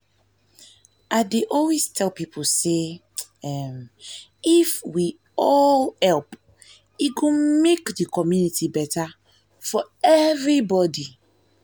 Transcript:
i dey always tell people say um if we all help e go make di community better for everybody